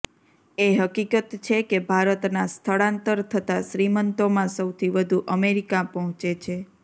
એ હકીકત છે કે ભારતના સ્થળાંતર થતા શ્રીમંતોમાં સૌથી વધુ અમેરિકા પહોંચે છે